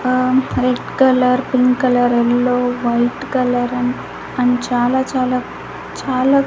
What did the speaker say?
ఆ red colour pink colour yellow white colour and చాలా చాలా చాలా.